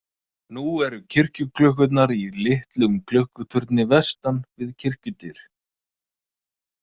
Nú eru kirkjuklukkurnar í litlum klukkuturni vestan við kirkjudyr.